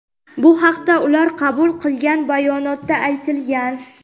Bu haqda ular qabul qilgan bayonotda aytilgan.